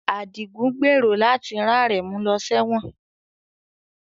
Adigun gbèrò láti rán Aremu lọ sẹ́wọ̀n